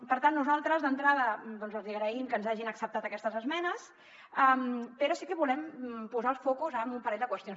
per tant nosaltres d’entrada els hi agraïm que ens hagin acceptat aquestes esmenes però sí que volem posar el focus en un parell de qüestions